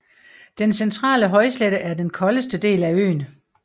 Den centrale højslette er den koldeste del af øen